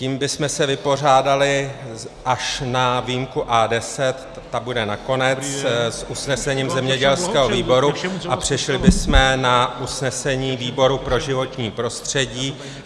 Tím bychom se vypořádali, až na výjimku A10, ta bude nakonec, s usnesením zemědělského výboru a přešli bychom na usnesení výboru pro životní prostředí.